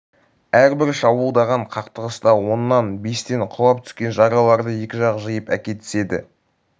әрбір шабуылдаған қақтығыста оннан бестен құлап түскен жаралыларды екі жақ жиып әкетіседі